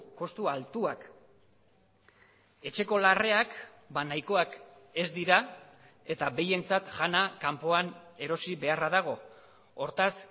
kostu altuak etxeko larreak nahikoak ez dira eta behientzat jana kanpoan erosi beharra dago hortaz